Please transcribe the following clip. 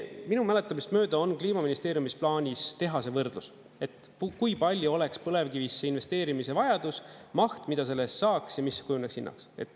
Minu mäletamist mööda on Kliimaministeeriumis plaanis teha see võrdlus, et kui palju oleks põlevkivisse investeerimise vajadus, maht, mida selle eest saaks, ja mis kujuneks hinnaks.